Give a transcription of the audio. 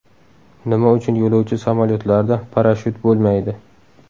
Nima uchun yo‘lovchi samolyotlarida parashyut bo‘lmaydi?.